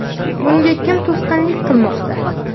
Bunga kim to‘sqinlik qilmoqda?